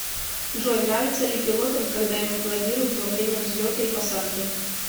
джой нравится ли пилотом когда им аплодируют во время взлета и посадки